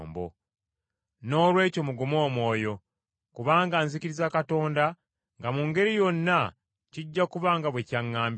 Noolwekyo mugume omwoyo! Kubanga nzikiriza Katonda nga mu ngeri yonna kijja kuba nga bwe kyaŋŋambiddwa.